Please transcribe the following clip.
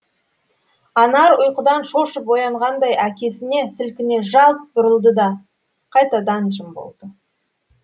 анар ұйқыдан шошып оянғандай әкесіне сілкіне жалт бұрылды да қайтадан жым болды